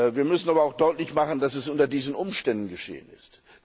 Wir müssen aber auch deutlich machen, dass es unter diesen Umständen geschehen ist.